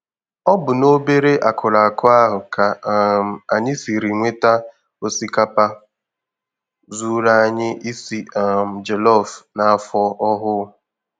Ọ bụ n'obere akụrụ akụ ahụ ka um anyị siri nweta osikapa zuuru anyị isi um jelọf n'afọ ọhụụ